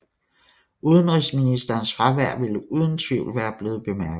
Udenrigsministerens fravær ville uden tvivl være blevet bemærket